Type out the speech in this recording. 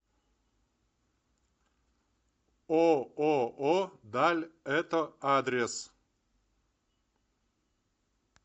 ооо даль это адрес